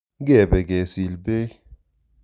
Ngepe kesil peek.